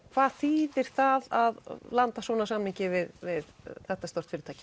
hvað þýðir það að landa svona samningi við við þetta stórt fyrirtæki